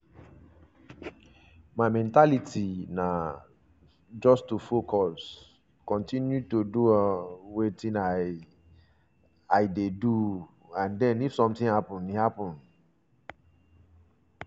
my mentality na um just to focus kotinu to do um wetin i um i um dey do and den if sometin happun e happun.